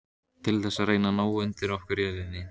Til þess að reyna að ná undir okkur jörðinni?